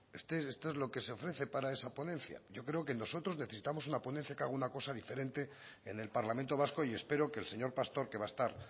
esto es lo que se ofrece para esa ponencia yo creo que nosotros necesitamos una ponencia que haga una cosa diferente en el parlamento vasco y espero que el señor pastor que va a estar